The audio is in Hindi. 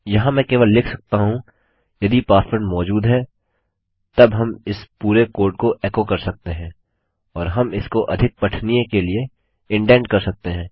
यहाँ मैं केवल लिख सकता हूँ यदि पासवर्ड मौजूद है तब हम इस पूरे कोड को एको कर सकते हैं और हम इसको अधिक पठनीय के लिए इंडेंट कर सकते हैं